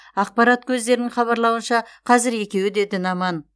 ақпарат көздерінің хабарлауынша қазір екеуі де дін аман